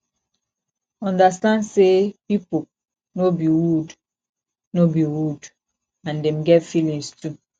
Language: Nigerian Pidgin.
understand sey pipo no be wood no be wood and dem get feelings too